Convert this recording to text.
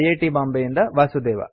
T Bombay ಯಿಂದ ವಾಸುದೇವ